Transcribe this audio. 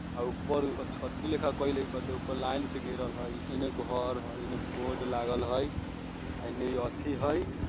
अ ऊपर अ छतरी लेखा कइले हई कते ऊपर लाइन से घेरल हई एने घर हई एने बोर्ड लागल हई ऐनी एथी हई।